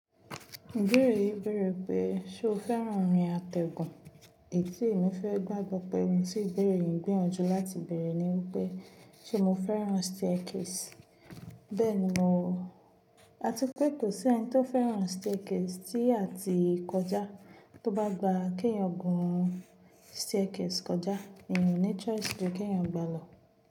Ìbéèrè yìí bẹ̀rẹ̀ pé ṣe o fẹ́ràn orin àtẹ̀gùn etí mi fẹ́ gbàgbọ́ pé ohun tí ìbéèrè yìí gbìyànjú láti bèrè ni wípé ṣe mo fẹ́ràn staircase. Bẹ́ẹ̀ni mò o. Àti pé kò sí ẹni tó fẹ́ràn staircase tí a ti kọjá tó bá gba kí eyàn gùn staircase kọjá, èèyàn ní choice pé kínyàn gba lọ.